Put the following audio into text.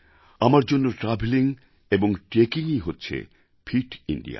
আমার জন্য ট্রাভেলিং এবং ট্রেকিংই হচ্ছে ফিট ইন্দিয়া